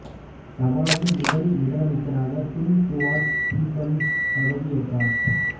சபாவின் முதல் முதலமைச்சராக Tun Fuad Stephens பதவி ஏற்றார்